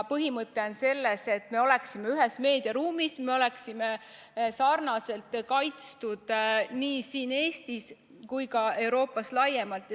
Põhimõte on selles, et me oleksime ühes meediaruumis, me oleksime sarnaselt kaitstud nii siin Eestis kui ka Euroopas laiemalt.